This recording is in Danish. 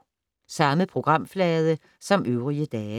Samme programflade som øvrige dage